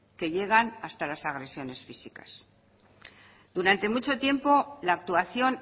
que llegan hasta las agresiones físicas durante mucho tiempo la actuación